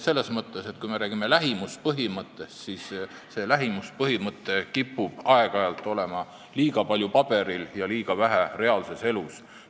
Kui me räägime lähimuspõhimõttest, siis see põhimõte kipub aeg-ajalt kehtima liiga palju paberil ja liiga vähe reaalses elus.